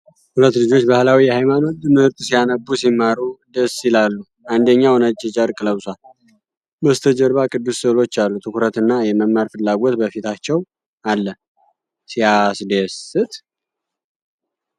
ሁለት ልጆች በባህላዊ የሃይማኖት ትምህርት ሲያነቡ ሲማሩ ደስ ይላሉ ። አንደኛው ነጭ ጨርቅ ለብሷል፣ በስተጀርባ ቅዱስ ስዕሎች አሉ። ትኩረትና የመማር ፍላጎት በፊታቸው አለ ። ሲያስደስት!